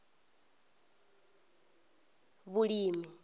vhulimi